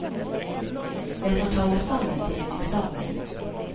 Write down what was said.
Jeg får ta meg sammen til en eksamen.